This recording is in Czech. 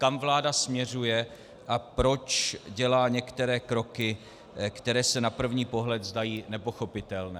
Kam vláda směřuje a proč dělá některé kroky, které se na první pohled zdají nepochopitelné.